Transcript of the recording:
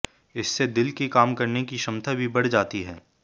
इससे दिल की काम करने की क्षमता भी बढ़ जाती है